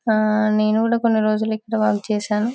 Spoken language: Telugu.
ఆ నేను కూడా కొన్ని రోజులు ఇక్కడ వర్క్ చేశాను